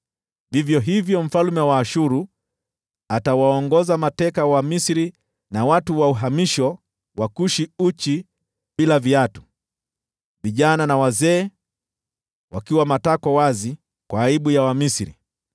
vivyo hivyo mfalme wa Ashuru atawaongoza mateka wa Wamisri, na watu wa uhamisho wa Kushi, uchi na bila viatu, vijana hata wazee, wakiwa matako wazi, kwa aibu ya Wamisri.